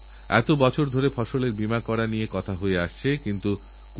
এক পয়সাও খরচ না করে সরকারীহাসপাতালে প্রত্যেক মাসের নয় তারিখে এই কাজকর্ম চলবে